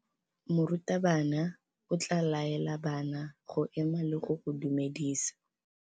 Morutabana o tla laela bana go ema le go go dumedisa.